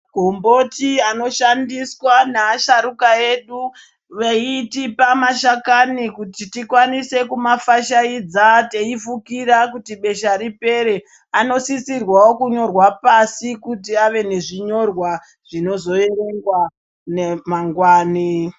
Magomboti anoshandiswa naasharuka veitipa mashakani kuti tikwanise kuma fashaidza teifukira kuti besha ripere, anosisirwawo kunyorwa pashi kuti ave nezvinyorwa zvinoerengwa mangwani.